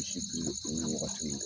Misi birili kungo wagati min